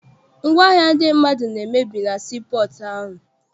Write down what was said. Ngwaahịa ndị mmadụ na-emebi na sii pọọtụ ahụ.